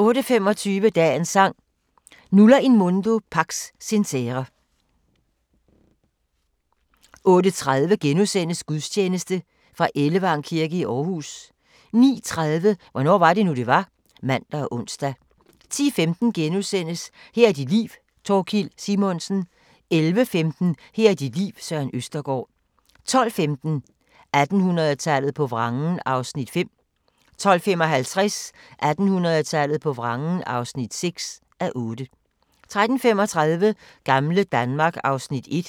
08:25: Dagens Sang: Nulla in mundo pax sincere 08:30: Gudstjeneste Ellevang kirke i Aarhus * 09:30: Hvornår var det nu, det var? (man og ons) 10:15: Her er dit liv - Thorkild Simonsen * 11:15: Her er dit liv – Søren Østergaard 12:15: 1800-tallet på vrangen (5:8) 12:55: 1800-tallet på vrangen (6:8) 13:35: Gamle Danmark (Afs. 1)